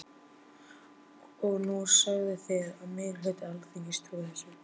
Og nú segið þið að meiri hluti Alþingis trúi þessu.